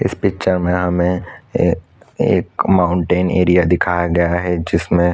इस पिक्चर में हमें अअअ एक माउंटेन एरिया दिखाया गया है जिसमें--